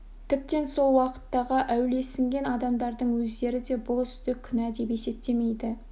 тіптен сол уақыттағы әулиесінген адамдардың өздері де бұл істі күнә деп есептемейді